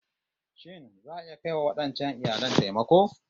Shin za'a iya kai wa wadancan iyalin taimako?